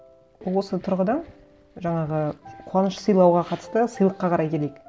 осы тұрғыда жаңағы қуаныш сыйлауға қатысты сыйлыққа қарай келейік